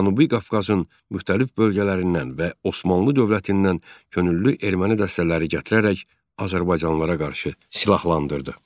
Cənubi Qafqazın müxtəlif bölgələrindən və Osmanlı dövlətindən könüllü erməni dəstələri gətirərək azərbaycanlılara qarşı silahlandırdı.